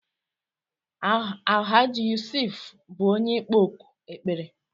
Alahaji Yusuf bú onye ịkpọ òkù ekpere